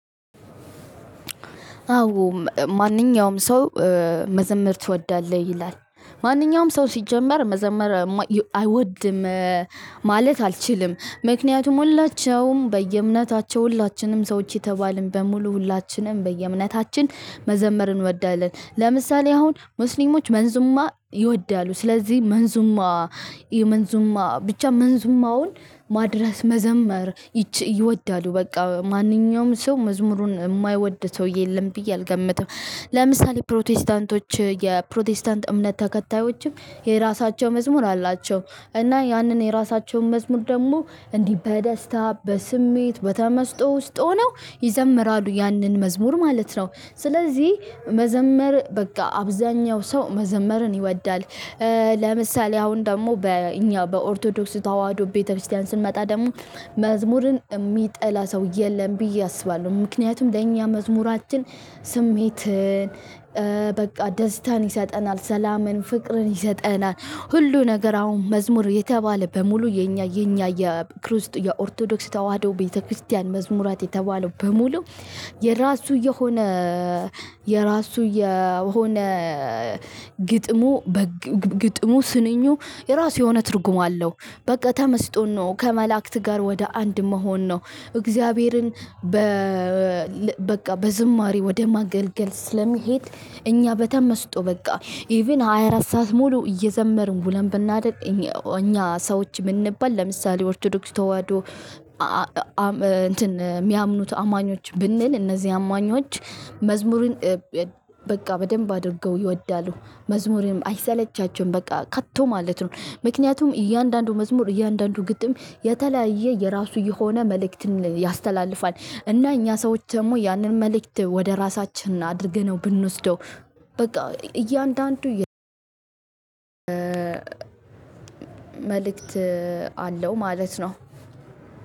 አዎ፣ ማንኛውም ሰው መዘመር ትወዳለህ ይላል። ማንኛውም ሰው ሲጀመር መዘመር አይወድም ማለት አልችልም። ምክንያቱም ሁላቸውም በየእምነታቸው ሁላችንም ሰዎች የተባልን በሙሉ ሁላችንም በየእምነታችን መዘመር እንወዳለን። ለምሳሌ አሁን ሙስሊሞች መንዙማ ይወዳሉ ስለዚህ መንዙማ የመንዙማ ብቻ መንዝማውን ማድረስ መዘመር ይቺ ይወዳሉ በቃ ማንኛውም ሰው መዝሙሩን ማይወድ ሰውዬ የለም ብዬ አልገምትም። ለምሳሌ ፕሮቴስታንቶች የፕሮቴስታንት እምነት ተከታዮችም የራሳቸው መዝሙር አላቸው። እና ያንን የራሳቸውን መዝሙር ደግሞ እንዲህ በደስታ በስሜት በተመስጦ ውስጥ ሆነው ይዘምራሉ ያንን መዝሙር ማለት ነው። ስለዚህ መዘመር በቃ አብዛኛው ሰው መዘመርን ይወዳል። ለምሳሌ አሁን ደግሞ በእኛ በኦርቶዶክስ ተዋህዶ ቤተክርስቲያን ስንመጣ ደግሞ መዝሙርን የሚጠላ ሰው የለም ብዬ አስባለሁ። ምክንያቱም ለኛ መዝሙራችን ስሜትን በቃ ደስታን ይሰጠናል፣ ሰላምን ፍቅርን ይሰጠናል፣ ሁሉ ነገር አሁን መዝሙር የተባለ በሙሉ የእኛ የእኛ የክርስት የኦርቶዶክስ ተዋህዶ ቤተክርስቲያን መዝሙራት የተባለው በሙሉ የራሱ የሆነ የራሱ የሆነ ግጥሙ በግጥሙ ስንኙ የራሱ የሆነ ትርጉም አለው። በቃ ተመስጦን ነው። ከመላእክት ጋር ወደ አንድ መሆን ነው። እግዚአብሔርን በ በቃ በዝማሬ ወደ ማገልገል ስለሚሄድ እኛ በተመስጦ በቃ ኢቭን ሃያ አራት ሰዓት ሙሉ እየዘመርን ውለን ብናድር እኛ ሰዎች ምንባል ለምሳሌ ኦርቶዶክስ ተዋዶ እንትን ሚያምኑት አማኞች ብንል እነዚህ አማኞች መዝሙርን በቃ በደንብ አድርገው ይወዳሉ። መዝሙርም አይሰለቻቸውም በቃ ከቶ ማለት ነው። ምክንያቱም እያንዳንዱ መዝሙር እያንዳንዱ ግጥም የተለያየ የራሱ የሆነ መልእክትን ያስተላልፋል። እና እኛ ሰዎች ደግሞ ያንን መልእክት ወደ እራሳችን አድርገነው ብንወስደው በቃ እያንዳንዱ መልእክት አለው ማለት ነው።